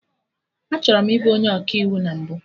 Achọrọ m ị bụ onye Ọkaiwu na mbụ